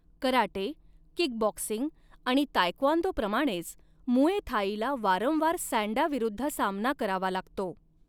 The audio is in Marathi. कराटे, किकबॉक्सिंग आणि ताएक्वॉनदोप्रमाणेच मुए थाईला वारंवार सँडा विरुद्ध सामना करावा लागतो.